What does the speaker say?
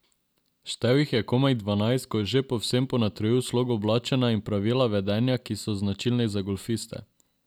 Štel jih je komaj dvanajst, ko je že povsem ponotranjil slog oblačenja in pravila vedenja, ki so značilni za golfiste.